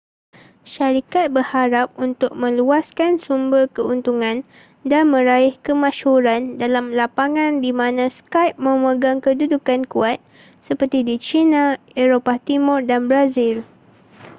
syarikat berharap untuk meluaskan sumber keuntungan dan meraih kemasyhuran dalam lapangan di mana skype memegang kedudukan kuat seperti di china eropah timur dan brazil